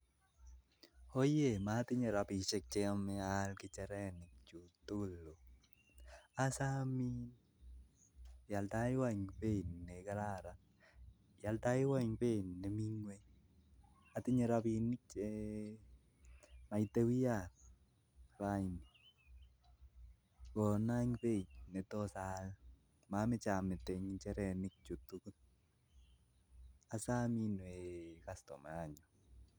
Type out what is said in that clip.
Oye matinye robin cheituchu ako asomei ikonon eng Che atinye nguni